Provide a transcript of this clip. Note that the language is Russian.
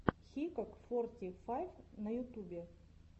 хикок форти файв на ютубе